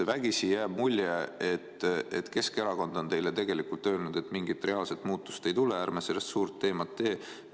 Vägisi jääb mulje, et Keskerakond on teile öelnud, et mingit reaalset muutust ei tule, ärme sellest suurt teemat teeme.